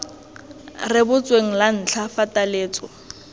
rebotsweng la ntlha fa taletso